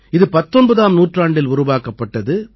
இது 19ஆம் நூற்றாண்டில் உருவாக்கப்பட்டது